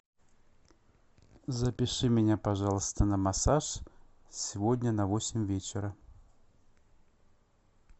запиши меня пожалуйста на массаж сегодня на восемь вечера